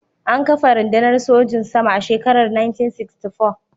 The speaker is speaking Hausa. An kafa rundunar sojin sama a shekarar 1964.